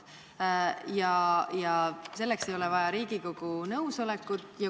Ja selleks ei ole vaja Riigikogu nõusolekut.